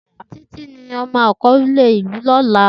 Titi ni akọle ọmọ ilu ọlọla.